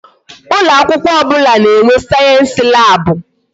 Ụlọ akwụkwọ ọbụla na-enwe sayensi lab.